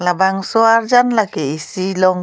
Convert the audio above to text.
labangso arjan lake isi long--